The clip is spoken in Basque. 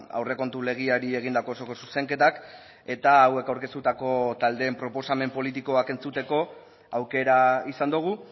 aurrekontu legeari egindako osoko zuzenketak eta hauek aurkeztutako taldeen proposamen politikoak entzuteko aukera izan dugu